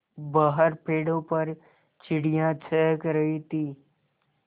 बाहर पेड़ों पर चिड़ियाँ चहक रही थीं